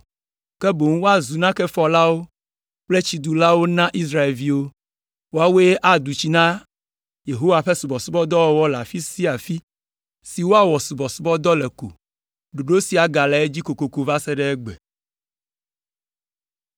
ke boŋ wozu nakefɔlawo kple tsidulawo na Israelviwo. Woawoe adu tsi na Yehowa ƒe subɔsubɔdɔwɔwɔ le afi sia afi si woawɔ subɔsubɔdɔ le ko. Ɖoɖo sia gale edzi kokoko va se ɖe egbe.